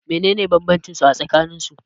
menene bambancinsu a tsakanin su?